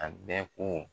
A bɛ ko